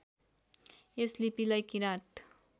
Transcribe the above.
यस लिपिलाई किराँत